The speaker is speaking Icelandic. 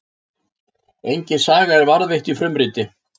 Engin saga er varðveitt í frumriti.